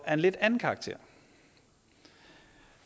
lidt anden karakter